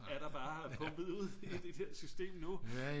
er der bare pumpet ud i det der system nu